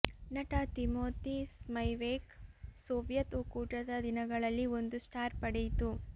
ನಟ Timothy Spivak Soviet ಒಕ್ಕೂಟದ ದಿನಗಳಲ್ಲಿ ಒಂದು ಸ್ಟಾರ್ ಪಡೆಯಿತು